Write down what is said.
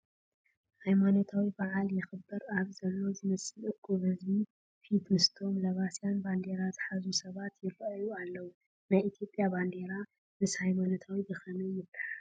ሃይማኖታዊ በዓል የኽብር ኣብ ዘሎ ዝመስል እኩብ ህዝቢ ፊት ምስቶም ለባስያን ባንዴራ ዝሓዙ ሰባት ይርአዩ ኣለዉ፡፡ ናይ ኢትዮጵያ ባንዴራ ምስ ሃይማኖት ብኸመይ ይተሓሓዝ?